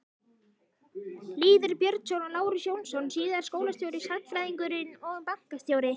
Lýður Björnsson og Lárus Jónsson- síðar skólastjóri, sagnfræðingur og bankastjóri.